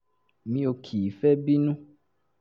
mi ò kì í fi bẹ́ẹ̀ bínú